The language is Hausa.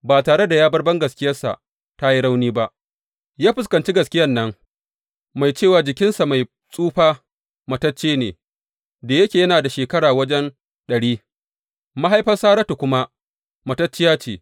Ba tare da ya bar bangaskiyarsa ta yi rauni ba, ya fuskanci gaskiyan nan mai cewa jikinsa mai tsufa matacce ne, da yake yana da shekara wajen ɗari, mahaifar Saratu kuma matacciya ce.